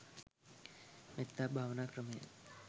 මෙත්තා භාවනා ක්‍රමය